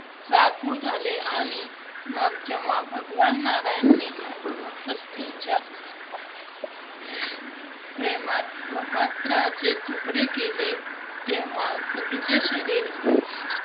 व्याकुळ झाले आणि मग जेव्हा भगवान नारायणने, सतीच्या प्रेमात ब्रह्मास्त्राचे तुकडे केले, तेव्हा सतीचे शरीर